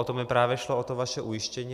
O to mi právě šlo, o to vaše ujištění.